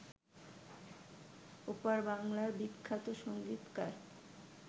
ওপার বাংলার বিখ্যাত সংগীতকার